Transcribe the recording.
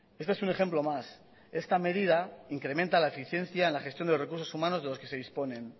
este es un ejemplo más esta medida incrementa la eficiencia en la gestión de recursos humanos de los que se disponen